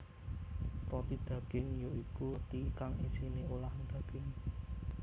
Roti daging ya iku roti kang isiné olahan daging